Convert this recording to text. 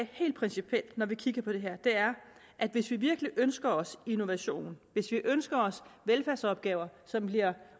helt principielt når vi kigger på det her er at hvis vi virkelig ønsker os innovation hvis vi ønsker os velfærdsopgaver som bliver